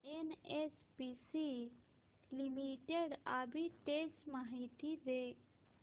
NHPC limited arbitrage माहिती दे